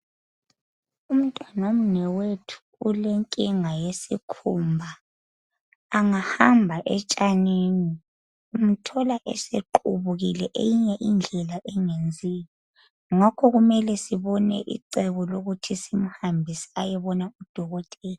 Umntwanomnewethu ulenkinga yesikhumba. Angahamba etshanini umthola esequbukile eyinye indlela engenziyo ngakho kumele sibone icebo lokuthi simhambise ayebona udokotela.